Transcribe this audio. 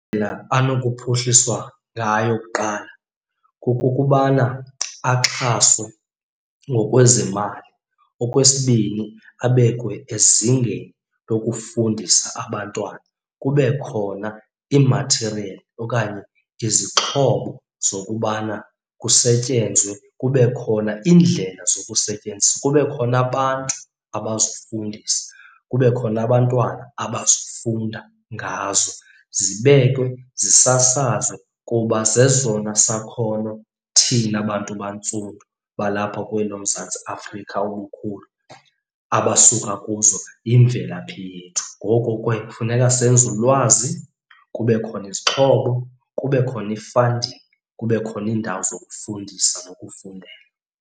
anokuphuhliswa ngayo kuqala kokokubana axhaswe ngokwezemali. Okwesibini abekwe ezingeni lokufundisa abantwana, kube khona iimathiriyeli okanye izixhobo zokubana kusetyenzwe, kube khona iindlela zokusebenzisa. Kube khona abantu abazofundisa, kube khona abantwana abazofunda ngazo, zibekwe, zisasazwe kuba zezona sakhono thina bantu bantsundu balapha kweli loMzantsi Afrika obukhulu abasuka kuzo, yimvelaphi yethu. Ngoko ke kufuneka senze ulwazi kube khona izixhobo, kube khona i-funding. Kube khona iindawo zokufundisa nokufundela.